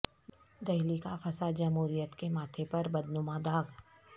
دہلی کا فساد جمہوریت کے ماتھے پر بدنما داغ